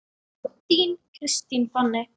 Þín, Kristín Fanný.